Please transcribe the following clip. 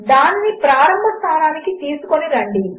దానినిప్రారంభస్థానమునకుతీసుకొనిరండి